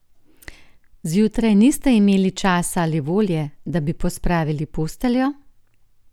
Zjutraj niste imeli časa ali volje, da bi pospravili posteljo?